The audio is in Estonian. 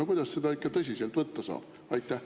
No kuidas seda ikka tõsiselt võtta saab?